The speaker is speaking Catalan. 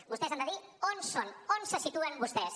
vostès han de dir on són on se situen vostès